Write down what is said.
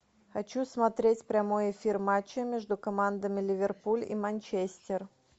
хочу смотреть прямой эфир матча между командами ливерпуль и манчестер